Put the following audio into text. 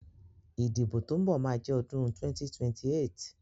Ìdìbò tó ń bọ̀ ma jẹ́ ọdún 2028